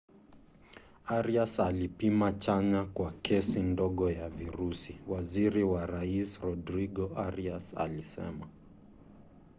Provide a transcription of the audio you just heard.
arias alipima chanya kwa kesi ndogo ya virusi waziri wa rais rodrigo arias alisema